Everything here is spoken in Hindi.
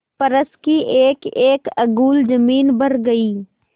फर्श की एकएक अंगुल जमीन भर गयी